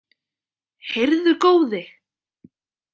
Heyrðu góði!